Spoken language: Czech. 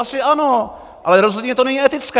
Asi ano, ale rozhodně to není etické!